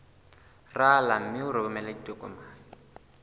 rala mme o romele ditokomene